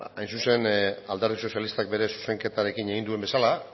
hain zuzen alderdi sozialistak bere zuzenketarekin egin duen bezala